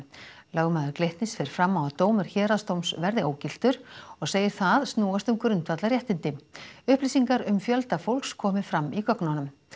lögmaður Glitnis fer fram á að dómur héraðsdóms verði ógiltur og segir það snúast um grundvallarréttindi upplýsingar um fjölda fólks komi fram í gögnunum